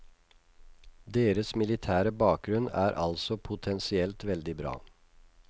Deres militære bakgrunn er altså potensielt veldig bra.